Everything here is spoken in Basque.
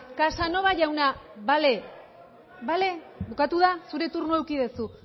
casanova jauna bale bukatu da zure turnoa eduki duzu